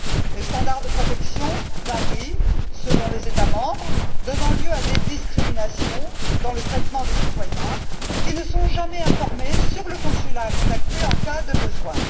Les niveaux de protection varient selon les États membres, donnant lieu à des discriminations dans le traitement des citoyens, qui ne sont jamais informés sur le consulat à contacter en cas de besoin.